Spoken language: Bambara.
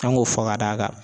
An k'o fɔ ka d'a kan.